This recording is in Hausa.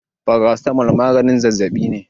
Paracetamol maganin zazzabi ne.